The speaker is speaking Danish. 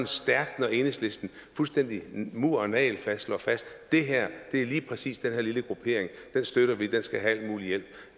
stærkt når enhedslisten fuldstændig mur og nagelfast slår fast lige præcis den her lille gruppering støtter vi den skal have al mulig hjælp